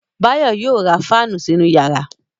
Báyọ̀ ma ra fáànù sínú yàrá